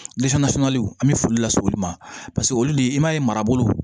sunkaliw an bɛ foli lase olu ma paseke olu de i b'a ye marabolo